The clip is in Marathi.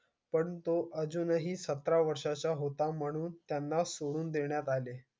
पण तो अजुनी सतरा वर्ष चा होता मनून सोडुन दिला आले